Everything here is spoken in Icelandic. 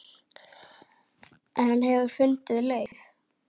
En hann hefur fundið leið.